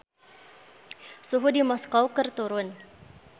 Suhu di Moskow keur turun